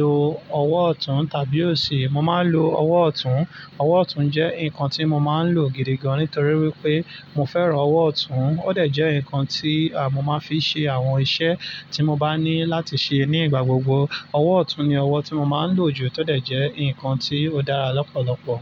lo ọwọ́ ọ̀tún tàbí òsì? Mo máa ń lo ọwọ́ ọ̀tún. Ọwọ́ ọ̀tún jẹ́ nǹkan tí mo máa ń lò gidi gan nítorí wípé mo fẹ́ràn ọwọ́ ọ̀tún. Ó de je ǹkan tí mo máa ń fi ṣe àwọn iṣẹ́ tí mo bá ní láti ṣe ní igbà gbogbo. Ọwọ́ ọ̀tún ni ọwọ́ tí mo máa ń lò jù tó de jẹ́ ǹkan tí ó dára lọ́pọ̀lọpọ̀.